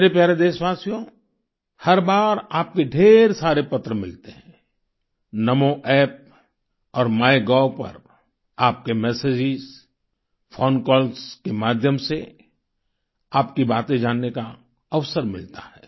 मेरे प्यारे देशवासियो हर बार आपके ढेर सारे पत्र मिलते है नामो App और माइगोव पर आपके मेसेजेज फोन कॉल्स के माध्यम से आपकी बातें जानने का अवसर मिलता है